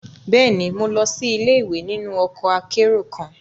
Bẹẹni, Mo lọ si ile-iwe ninu ọkọ akero kan